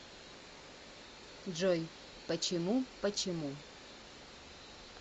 джой почему почему